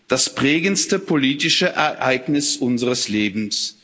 das prägendste politische Ereignis unseres Lebens.